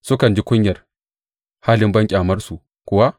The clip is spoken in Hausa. Sukan ji kunyar halin banƙyamarsu kuwa?